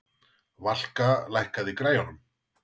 Valka, lækkaðu í græjunum.